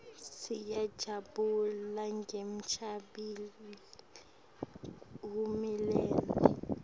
siyajabula ngenchubekelembili hulumende